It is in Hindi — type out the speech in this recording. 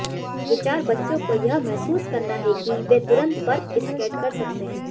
विचार बच्चों को यह महसूस करना है कि वे तुरंत बर्फ स्केट कर सकते हैं